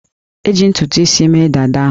E ji ntutu isi mee dada ahụ